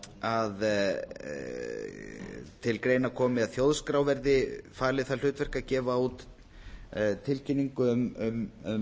að til greina komi að þjóðskrá verði falið það hlutverk að gefa út tilkynningu um